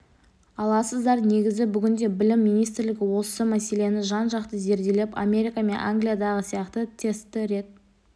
аласыздар негізі бүгінде білім министрлігі осы мәселені жан-жақты зерделеп америка мен англиядағы сияқты тестті рет